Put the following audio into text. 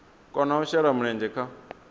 kona u shela mulenzhe kha